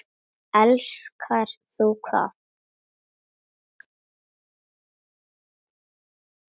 Elskar þú hvað?